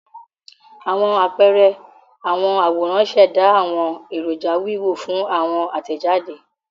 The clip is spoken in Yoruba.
Awọn apẹẹrẹ awọn aworan ṣẹda awọn eroja wiwo fun awọn atẹjade.